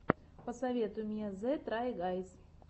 посоветуй мне зе трай гайз